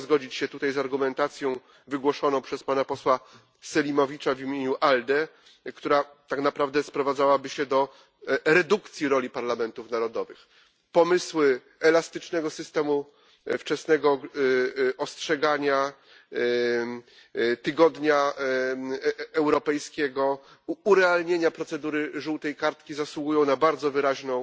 Nie mogę zgodzić się tutaj z argumentacją wygłoszoną przez pana posła Selimovica w imieniu ALDE, która tak naprawdę sprowadzałaby się do redukcji roli parlamentów narodowych. Pomysły elastycznego systemu wczesnego ostrzegania, tygodnia europejskiego, urealnienia procedury żółtej kartki zasługują na bardzo wyraźną